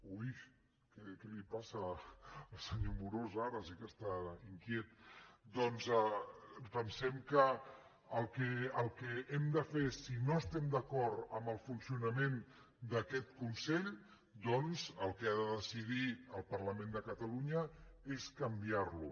ui què li passa al senyor amorós ara si que està inquiet doncs pensem que el que hem de fer si no estem d’acord amb el funcionament d’aquest consell doncs el que ha de decidir el parlament de catalunya és canviar lo